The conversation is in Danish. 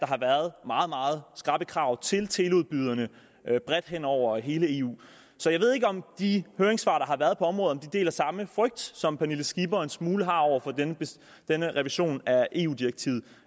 har været meget meget skrappe krav til teleudbyderne bredt hen over hele eu så jeg ved ikke om de høringssvar der er givet på området har samme frygt som fru pernille skipper har en smule af over for denne revision af eu direktivet